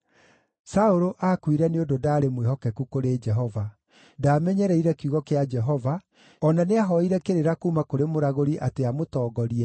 Saũlũ aakuire nĩ ũndũ ndaarĩ mwĩhokeku kũrĩ Jehova; ndaamenyereire kiugo kĩa Jehova, o na nĩahooire kĩrĩra kuuma kũrĩ mũragũri atĩ amũtongorie,